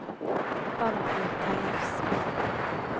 Barbro Tellefsen